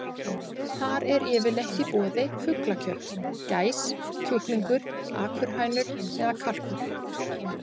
Þar er yfirleitt í boði fuglakjöt: gæs, kjúklingur, akurhænur eða kalkúnn.